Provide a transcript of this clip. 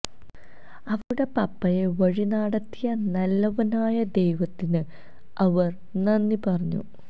അവരുടെ പപ്പായെ വഴി നാടത്തിയ നല്ലവനായ ദൈവത്തിന് അവര് നന്ദി പറഞ്ഞു